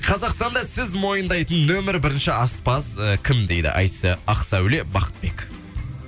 қазақстанда сіз мойындайтын нөмір бірінші аспаз і кім дейді ақсауле бақытбек